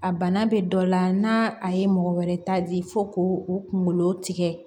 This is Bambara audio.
A bana bɛ dɔ la n'a a ye mɔgɔ wɛrɛ ta di fo k'o o kungolo tigɛ